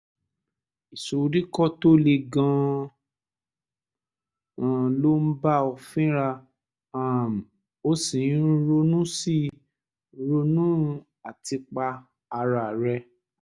ìsoríkọ́ tó le gan-an ló ń bá ọ fínra um o sì ń ronú sì ń ronú àtipa ara rẹ